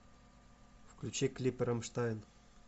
включи клипы рамштайн